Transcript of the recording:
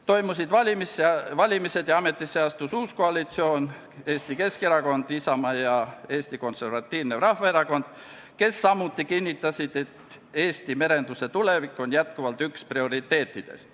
Toimusid valimised ja ametisse astus uus koalitsioon, Eesti Keskerakond, Isamaa ja Eesti Konservatiivne Rahvaerakond, kes samuti kinnitasid, et Eesti merenduse tulevik on endiselt üks prioriteete.